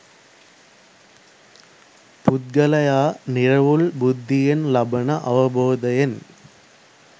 පුද්ගලයා නිරවුල් බුද්ධියෙන් ලබන අවබෝධයෙන්